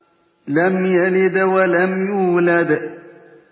لَمْ يَلِدْ وَلَمْ يُولَدْ